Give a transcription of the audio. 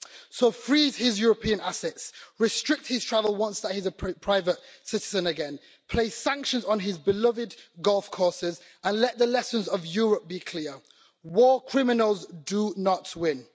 So freeze his European assets, restrict his travel once he is a private citizen again, place sanctions on his beloved golf courses, and let the lessons of Europe be clear war criminals do not win.